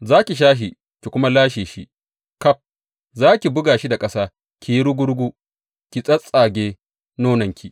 Za ki sha shi ki kuma lashe shi ƙaf; za ki buga shi da ƙasa ya yi rugu rugu ki tsattsage nononki.